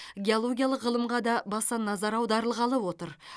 геологиялық ғылымға да баса назар аударылғалы отыр